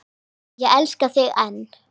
Og ég elska þig enn.